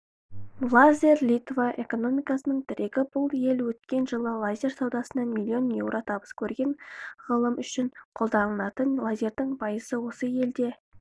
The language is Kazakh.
лазер литва экономикасының тірегі бұл ел өткен жылы лазер саудасынан млн еуро табыс көрген ғылым үшін қолданылатын лазердің пайызы осы елде